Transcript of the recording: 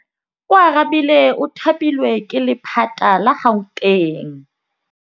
Oarabile o thapilwe ke lephata la Gauteng.